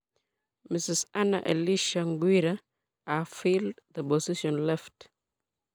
Mrs.Anna Elisha Mghwira have filled the position left.